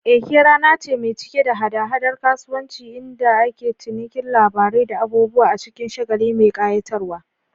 Eke rana ce mai cike da hada-hadar kasuwanci inda ake cinikin labarai da abubuwa a cikin shagali mai kayatarwa.